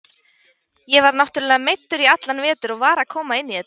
Ég var náttúrulega meiddur í allan vetur og var að koma inn í þetta.